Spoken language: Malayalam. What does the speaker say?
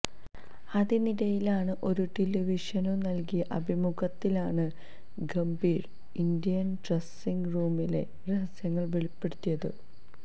അതിനിടയിലാണ് ഒരു ടെലിവിഷനു നല്കിയ അഭിമുഖത്തിലാണ് ഗംഭീര് ഇന്ത്യന് ഡ്രസിങ് റൂമിലെ രഹസ്യങ്ങള് വെളിപ്പെടുത്തിയത്